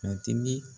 Matigi